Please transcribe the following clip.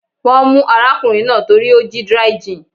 Wọ́n mú arákùnrin náà torí ó jí dry gin.